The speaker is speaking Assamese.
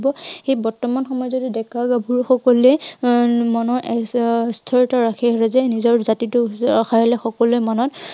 সেই বৰ্তমান সমাজৰ ডেকা- গাভৰু সকলে উম মনৰ আহ স্থিৰতা ৰাখি আহিছে যে নিজৰ জাতিটো আহ সকলোৰে মনত